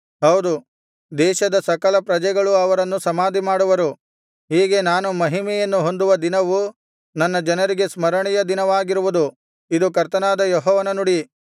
ಹೌದು ದೇಶದ ಸಕಲ ಪ್ರಜೆಗಳು ಅವರನ್ನು ಸಮಾಧಿ ಮಾಡುವರು ಹೀಗೆ ನಾನು ಮಹಿಮೆಯನ್ನು ಹೊಂದುವ ದಿನವು ನನ್ನ ಜನರಿಗೆ ಸ್ಮರಣೆಯ ದಿನವಾಗಿರುವುದು ಇದು ಕರ್ತನಾದ ಯೆಹೋವನ ನುಡಿ